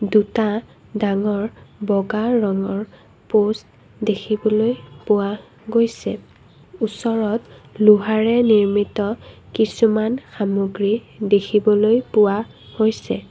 দুটা ডাঙৰ বগা ৰঙৰ প'ষ্ট দেখিবলৈ পোৱা গৈছে ওচৰত লোহাৰে নিৰ্মিত কিছুমান সামগ্ৰী দেখিবলৈ পোৱা গৈছে।